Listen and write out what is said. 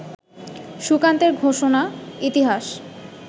সুকান্তের ঘোষণা, ইতিহাস